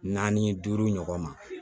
Naani duuru ɲɔgɔn ma